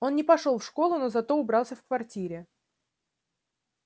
он не пошёл в школу но зато убрался в квартире